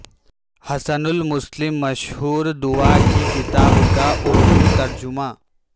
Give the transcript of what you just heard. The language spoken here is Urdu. حصن المسلم مشہور دعا کی کتاب کا اردو ترجمہ